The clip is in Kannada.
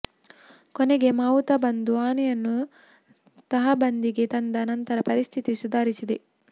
ಕೊನೆಗೆ ಮಾವುತ ಬಂದು ಆನೆಯನ್ನು ತಹಬಂದಿಗೆ ತಂದ ನಂತರ ಪರಿಸ್ಥಿತಿ ಸುಧಾರಿಸಿದೆ